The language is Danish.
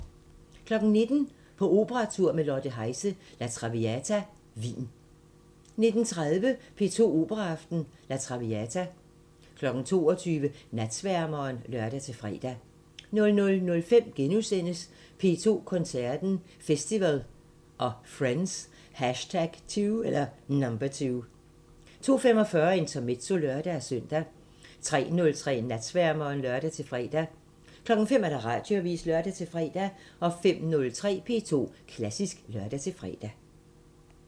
19:00: På operatur med Lotte Heise – La Traviata Wien 19:30: P2 Operaaften – La Traviata 22:00: Natsværmeren (lør-fre) 00:05: P2 Koncerten – Festival & Friends #2 * 02:45: Intermezzo (lør-søn) 03:03: Natsværmeren (lør-fre) 05:00: Radioavisen (lør-fre) 05:03: P2 Klassisk (lør-fre)